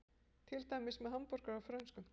Til dæmis með hamborgara og frönskum.